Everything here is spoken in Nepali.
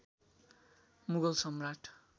मुगल सम्राट